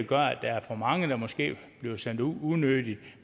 gør at der er for mange der måske bliver sendt ud unødigt